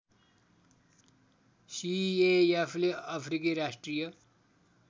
सिएएफले अफ्रिकी राष्ट्रिय